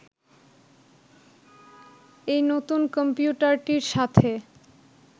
এই নতুন কম্পিউটারটির সাথে